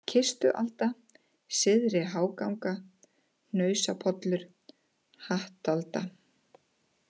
Kistualda, Syðri-Háganga, Hnausapollur, Hattalda